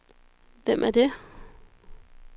Hvem er det